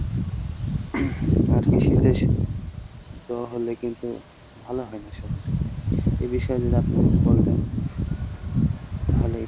আরকি শীতের জ্বর হলে কিন্তু ভালো হয় না সহজে , এ বিষয়ে যদি আপনি কিছু বলতেন তাহলে